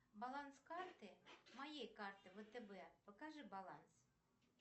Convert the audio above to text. баланс карты моей карты втб покажи баланс